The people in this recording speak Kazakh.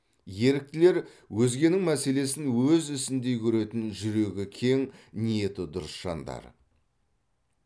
еріктілер өзгенің мәселесін өз ісіндей көретін жүрегі кең ниеті дұрыс жандар